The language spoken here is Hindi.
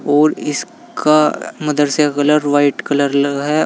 और इसका मदरसे का कलर वाइट कलर लगा है।